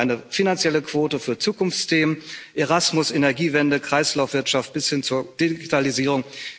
Wir fordern eine finanzielle Quote für Zukunftsthemen, Erasmus, Energiewende, Kreislaufwirtschaft bis hin zur Digitalisierung.